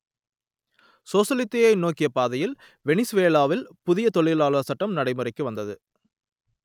சோசலிசத்தை நோக்கிய பாதையில் வெனிசுவேலாவில் புதிய தொழிலாளர் சட்டம் நடைமுறைக்கு வந்தது